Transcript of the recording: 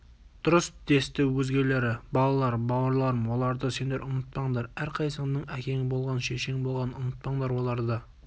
дұрыс десті өзгелері балалар бауырларым оларды сендер ұмытпаңдар әрқайсыңның әкең болған шешең болған ұмытпаңдар оларды